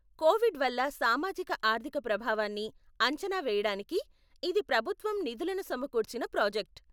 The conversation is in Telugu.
కోవిడ్ వల్ల సామాజిక ఆర్థిక ప్రభావాన్ని అంచనా వేయడానికి ఇది ప్రభుత్వం నిధులను సమకూర్చిన ప్రాజెక్ట్.